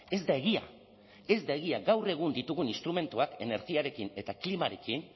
ez da egia ez da egia gaur egun ditugun instrumentuak energiarekin eta klimarekin